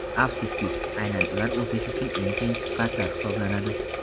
Afsuski, aynan ular o‘sish uchun eng qiyin sifatlar hisoblanadi.